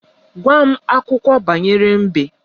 Gwa m akụkọ banyere mbe!